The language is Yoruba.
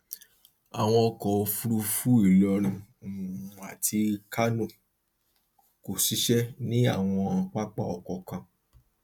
àwọn ọkọ òfúrufú ilorin um àti kánò kò ṣiṣẹ ní àwọn pápá ọkọ kan